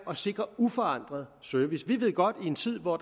at sikre uforandret service vi ved godt at i en tid hvor